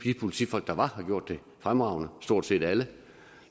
politifolk der var har gjort det fremragende stort set alle